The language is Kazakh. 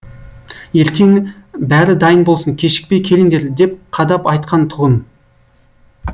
ертең бәрі дайын болсын кешікпей келіңдер деп қадап айтқан тұғын